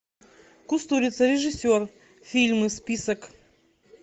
кустурица режиссер фильмы список